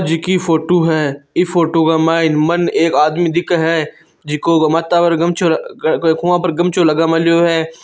जिकी फोटो है ई फोटो के मैने मन एक आदमी दिखे है जिको माथा पर गमछो खभा पर गमछो लगामेलियो है।